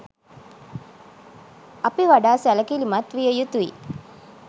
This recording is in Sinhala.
අපි වඩා සැලකිලිමත් විය යුතුයි